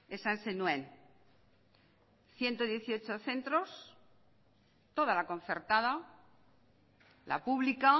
esan zenuen ciento dieciocho centros toda la concertada la pública